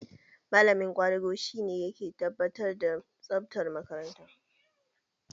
Malamin ƙwadago shi ne ke tabbatar da tsabtar makaranta.